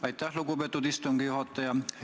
Aitäh, lugupeetud istungi juhataja!